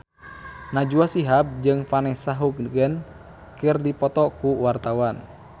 Najwa Shihab jeung Vanessa Hudgens keur dipoto ku wartawan